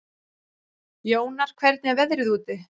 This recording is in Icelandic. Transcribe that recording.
Jónar, hvernig er veðrið úti?